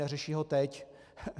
Neřeší ho teď.